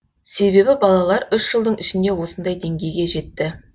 себебі балалар үш жылдың ішінде осындай деңгейге жетті